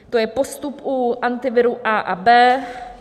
To je postup u Antiviru A a B.